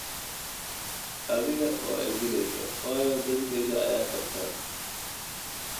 Adhiga waidhileysa wayo denteydha aya kabta.